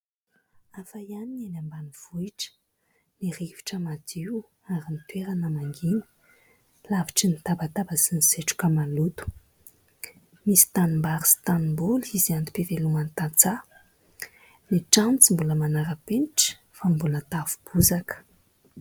Hafa ihany ny eny Ambanivohitra, ny rivotra madio ary ny toerana mangina alavitry ny tabataba sy ny setroka maloto. Misy tanimbary sy tanimboly izay antom-piveloman'ny tantsaha. Ny trano tsy mbola manara-penitra fa mbola tafo bozaka.